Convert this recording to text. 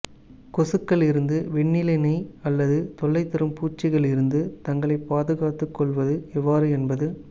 கொசுக்கள் இருந்து வெண்ணிலினைக் அல்லது தொல்லைதரும் பூச்சிகள் இருந்து தங்களை பாதுகாத்துக்கொள்வது எவ்வாறு என்பது